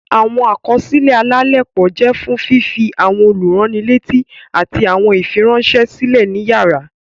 Awọn àkọsílẹ alalepo jẹ fún fifi awọn olurannileti ati awọn ifiranṣẹ silẹ ní iyàrá.